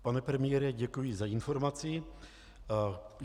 Pane premiére, děkuji za informaci.